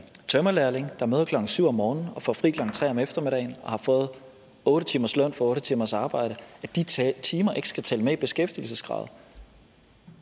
tømrerlærling der møder klokken syv om morgenen og får fri klokken tre om eftermiddagen og har fået otte timers løn for otte timers arbejde at de timer ikke skal tælle med i beskæftigelseskravet